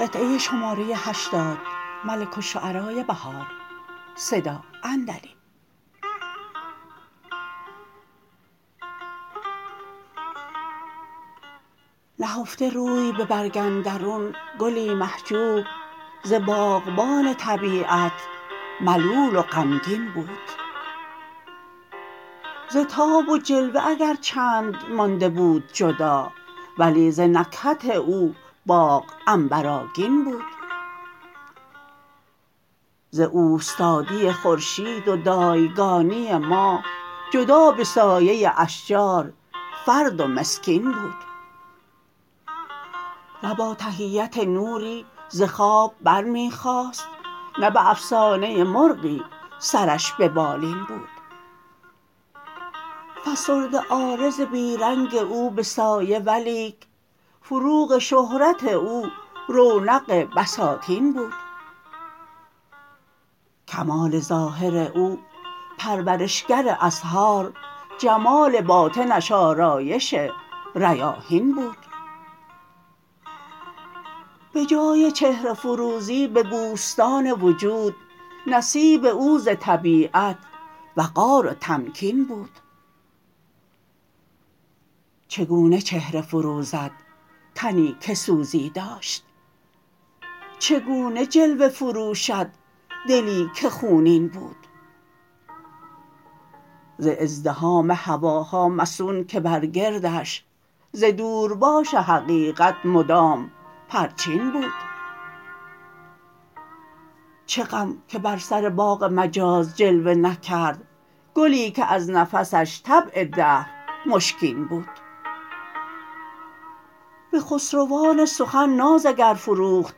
نهفته روی به برگ اندرون گلی محجوب ز باغبان طبیعت ملول و غمگین بود زتاب و جلوه اگر چند مانده بود جدا ولی ز نکهت او باغ عنبرآگین بود ز اوستادی خورشید و دایگانی ماه جدا به سایه اشجار فرد و مسکین بود نه با تحیت نوری ز خواب برمی خاست نه به افسانه مرغی سرش به بالین بود فسرده عارض بی رنگ او به سایه ولیک فروغ شهرت او رونق بساتین بود کمال ظاهر او پرورش گر ازهار جمال باطنش آرایش ریاحین بود به جای چهره فروزی به بوستان وجود نصیب او ز طبیعت وقار و تمکین بود چگونه چهره فروزد تنی که سوزی داشت چگونه جلوه فروشد دلی که خونین بود ز ازدحام هواها مصون که برگردش ز دور باش حقیقت مدام پرچین بود چه غم که بر سر باغ مجاز جلوه نکرد گلی که از نفسش طبع دهر مشکین بود به خسروان سخن ناز اگر فروخت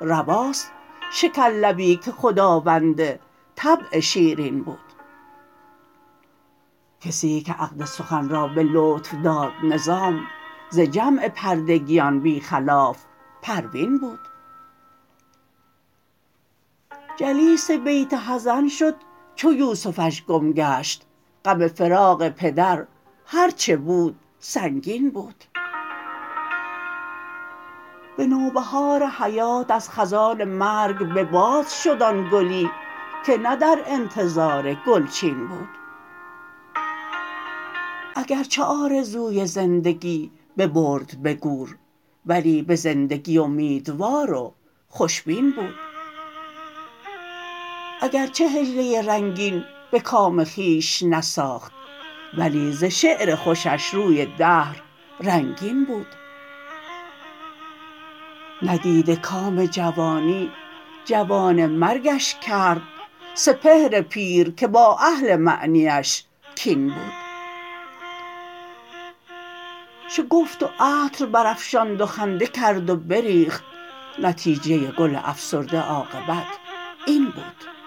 رواست شکر لبی که خداوند طبع شیرین بود کسی که عقد سخن را به لطف داد نظام ز جمع پردگیان بی خلاف پروین بود جلیس بیت حزن شد چو یوسفش کم گشت غم فراق پدر هرچه بود سنگین بود به نوبهار حیات از خزان مرگ به باد شد آن گلی که نه در انتظار گلچین بود اگرچه آرزوی زندگی ببرد به گور ولی به زندگی امیدوار و خوش بین بود اگرچه حجله رنگین به کام خویش نساخت ولی ز شعر خوشش روی دهر رنگین بود ندیده کام جوانی جوانه مرگش کرد سپهر پیرکه با اهل معنی اش کین بود شگفت و عطر برافشاند و خنده کرد و بریخت نتیجه گل افسرده عاقبت این بود